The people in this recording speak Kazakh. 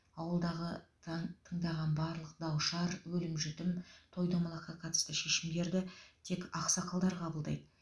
ауылдағы тан тындаған барлық дау шар өлім жітім той томалаққа қатысты шешімдерді тек ақсақалдар қабылдайды